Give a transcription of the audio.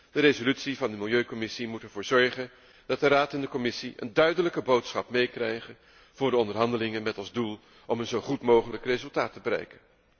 De resolutie van de Commissie milieu moet ervoor zorgen dat de Raad en de Commissie een duidelijke boodschap meekrijgen voor de onderhandelingen met als doel een zo goed mogelijk resultaat te bereiken.